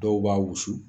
Dɔw b'a wusu